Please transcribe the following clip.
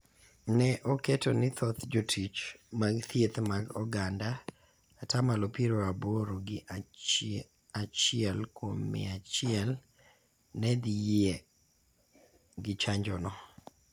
ne oketo ni thoth Jotich mag Thieth mag Oganda (ata malo piero aboro gi achiel kuom mia achiel) ne dhi yie gi chanjono.